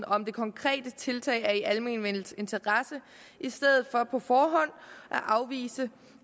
om det konkrete tiltag er i almenvellets interesse i stedet for på forhånd at afvise